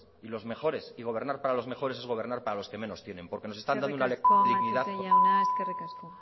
y los mejores y gobernar para los mejores es gobernar para los que menos tienen porque nos están dando una lección de humildad eskerrik asko